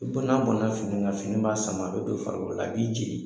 Bɔna bɔnna fini kan fini b'a sama, a be do farikolo la, a b'i jeni.